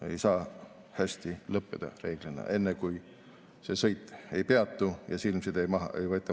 See ei saa reeglina hästi lõppeda enne, kui sõit ei peatu ja silmilt side maha ei võeta.